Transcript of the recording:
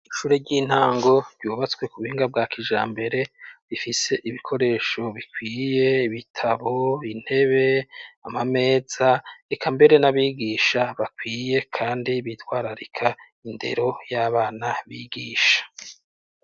inshure ry'intango ryubatswe ku buhinga bwa kijambere bifise ibikoresho bikwiye bitabo intebe amameza rika mbere n'abigisha bakwiye kandi bitwararika indero y'abana bigisha